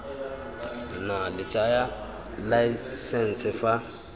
nna la tsaya laesense fa